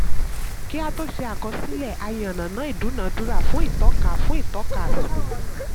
kí á tó ṣe àkọsílẹ̀ a yànnàná ìdúnadúrà fún ìtọ́ka fún ìtọ́ka àsunwon.